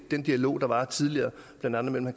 den dialog der var tidligere blandt andet mellem